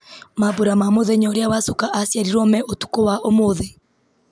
mambura ma mũthenya ũrĩa wacuka aciarirwo me ũtukũ wa ũmũthĩ